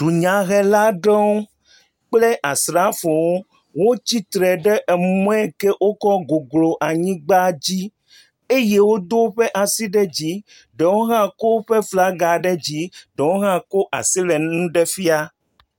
dunya helaɖewo kple asrafowo wo tsitre ɖe emɔe ke wókɔ guglu anyigbã dzi eye wodó wóƒe asi ɖe dzi ɖewo hã ko wóƒe flaga ɖe dzi ɖewo hã ko asi le ŋuɖe fia